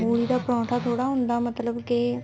ਮੂਲੀ ਦਾ ਪਰੋਂਠਾ ਥੋੜਾ ਹੁੰਦਾ ਮਤਲਬ ਕੇ